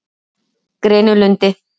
Grenilundi